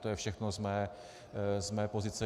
To je všechno z mé pozice.